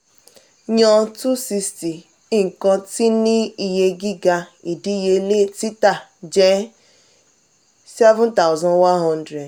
yan two hundred sixty nkan tí ní iye giga idiyele tita jẹ seven thousand one hundred.